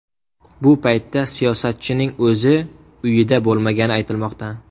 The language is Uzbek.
Bu paytda siyosatchining o‘zi uyida bo‘lmagani aytilmoqda.